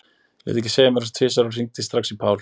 Lét ég ekki segja mér það tvisvar og hringdi strax í Pál.